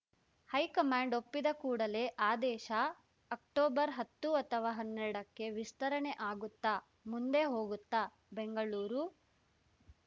high command ಒಪ್ಪಿದ ಕೂಡಲೇ ಆದೇಶ ಅಕ್ಟೊಬರ್ಹತ್ತು ಅಥವಾ ಹನ್ನೆರಡಕ್ಕೆ ವಿಸ್ತರಣೆ ಆಗುತ್ತಾ ಮುಂದೆ ಹೋಗುತ್ತಾ ಬೆಂಗಳೂರು